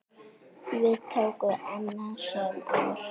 Við tóku annasöm ár.